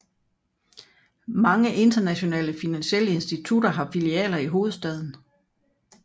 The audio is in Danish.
Mange internationale finansielle institutioner har filialer i hovedstaden